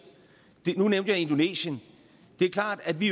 nu nævnte jeg indonesien det er klart at vi